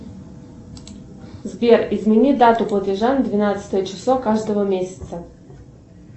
сбер измени дату платежа на двенадцатое число каждого месяца